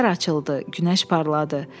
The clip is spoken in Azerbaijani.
Səhər açıldı, günəş parladı.